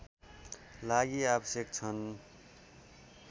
लागि आवश्यक छन्